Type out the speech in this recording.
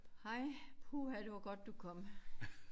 Hej puha det var godt du kom